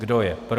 Kdo je pro?